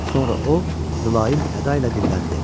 Sonra o mülayim əda ilə dilləndi.